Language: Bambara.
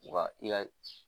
Wa i ka